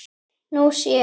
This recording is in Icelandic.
Nú sé